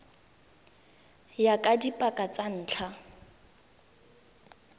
ya ka dipaka tsa ntlha